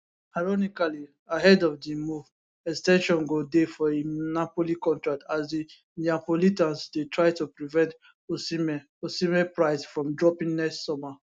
ironically ahead of di move ex ten sion go dey for im napoli contract as di neapolitans dey try to prevent osimhen osimhen price from dropping next summer